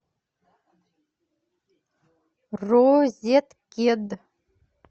розеткед